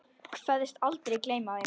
Kveðst aldrei gleyma þeim.